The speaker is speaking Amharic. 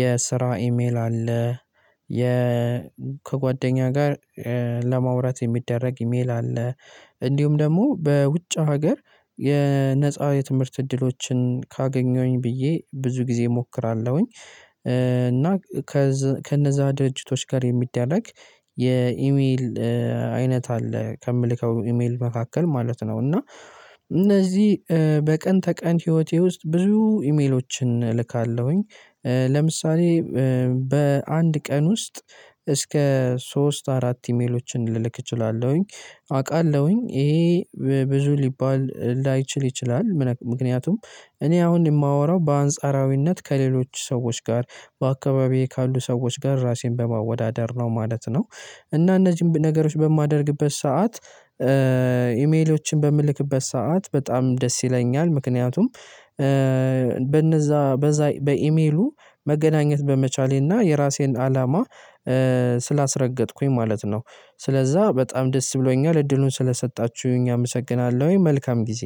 የስራ ኢሜል አለ። የ ከጓደኛ ጋር ለማውራት የሚደረግ ኢሜል አለ። እንዲሁም ደግሞ በውጭ ሀገር የነፃ የትምህርት እድሎችን ካገኘሁኝ ብዬ ብዙ ጊዜ እሞክራለሁኝ። እና ከነዛ ደርጅቶች ጋር የሚደረግ የኢሜል አይነት አለ። ከምልከው ኢሜል መካከል ማለት ነው እና እነዚህ በቀን ተቀን ህይወቴ ውስጥ ብዙ ኢሜሎችን እልካለሁኝ። ለምሳሌ በአንድ ቀን ውስጥ እስከ ሶስት አራት ኢሜሎችን ልልክ እችላለሁኝ። አውቃለሁኝ ይሄ ብዙ ሊባል ላይችል ይችላል ምክንያቱም እኔ አሁን የማወራው በአንጻራዊነት ከሌሎች ሰዎች ጋር በአካባቢዬ ካሉ ሰዎች ጋር ራሴን በማወዳደር ነው ማለት ነው። እና እነዚህን ነገሮች በማደርግበት ሰዓት ኢሜሎችን በምልክበት ሰዓት በጣም ደስ ይለኛል። ምክንያቱም በነዛ በዛ በኢሜሉ መገናኘት በመቻሌና የራሴን አላማ ስላስረገጥኩኝ ማለት ነው። ስለዛ በጣም ደስ ብሎኛል እድሉን ስለሰጣችሁኝ አመሰግናለሁኝ። መልካም ጊዜ